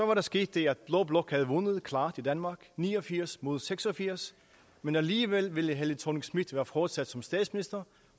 var der sket det at blå blok havde vundet klart i danmark ni og firs mod seks og firs men alligevel ville helle thorning schmidt være fortsat som statsminister